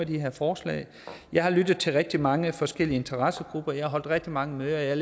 de her forslag og jeg har lyttet til rigtig mange forskellige interessegrupper jeg har holdt rigtig mange møder og jeg